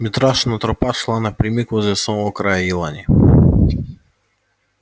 митрашина тропа шла напрямик возле самого края елани